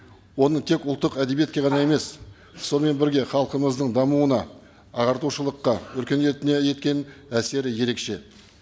оның тек ұлттық әдебиетке ғана емес сонымен бірге халқымыздың дамуына ағартушылыққа өркениетіне еткен әсері ерекше